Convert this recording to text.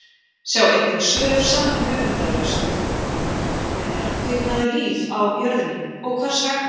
Sjá einnig svör sama höfundar við spurningunum Hvenær kviknaði líf á jörðinni og hvers vegna?